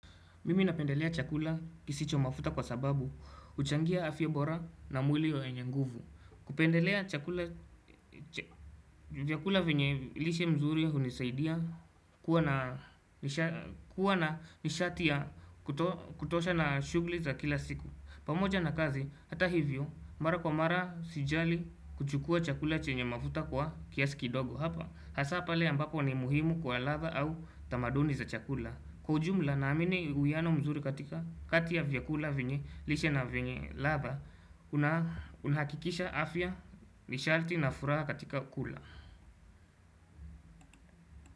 Mimi napendelea chakula kisicho mafuta kwa sababu, huchangia afyabora na mwili wenye nguvu. Kupendelea chakula venye lishe mzuri hunisaidia kuwa na nishati ya kutosha na shughli za kila siku. Pamoja na kazi, hata hivyo, mara kwa mara, sijali, kuchukua chakula chenye mafuta kwa kiasi kidogo hapa. Hasa pale ambapo ni muhimu kwa ladha au tamaduni za chakula. Kwa ujumla naamini uyano mzuri katika kati ya vyakula venye lishe na venye ladha Unahakikisha afya misharti na furaha katika kula.